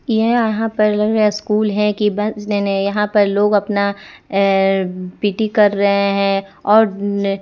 ये अहां पर लग रहा स्कूल है कि बस नेने यहां पर लोग अपना अअ पी_टी कर रहे हैं और ने --